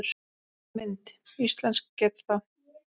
Mynd: Íslensk getspá